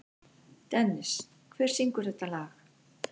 Dennis, hver syngur þetta lag?